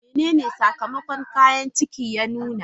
Menene sakamakon kayan ciki ya nuna?